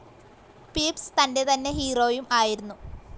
Pepys തന്റെതന്നെ ഹീറോയും ആയിരുന്നു